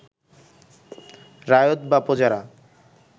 রায়ত বা প্রজারা